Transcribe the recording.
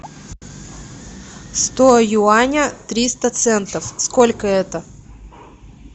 сто юаня триста центов сколько это